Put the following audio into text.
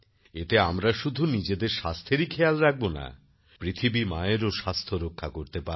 এতে আমরা শুধু নিজেদের স্বাস্থ্যেরই খেয়াল রাখব না পৃথিবী মায়েরও স্বাস্থ্য রক্ষা করতে পারব